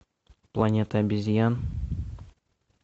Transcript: планета обезьян